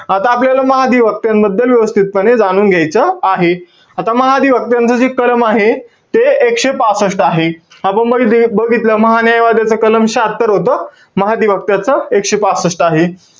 आता आपल्याला महाधिवक्त्यांबद्दल व्यवस्थितपणे जाणून घायच आहे. आता महाधिवक्त्यांच जे कलम आहे. ते एकशे पासष्ट आहे. आपण बग~ बघितलं महान्यायवाद्याचा कलम शह्यात्तर होतं. महाधिवक्त्यांच एकशे पासष्ट आहे.